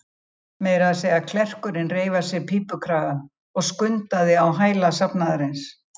Meira að segja klerkurinn reif af sér pípukragann og skundaði á hæla safnaðarins.